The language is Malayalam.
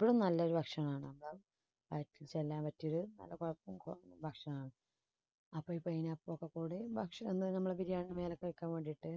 ഏറ്റവും നല്ല ഭക്ഷണമാണ് ഭക്ഷണമാണ് അപ്പോൾ ഈ pineapple ഒക്കെ കൂടി ഭക്ഷണം biriyani ന് മേലേക്ക് വയ്ക്കാൻ വേണ്ടിയിട്ട്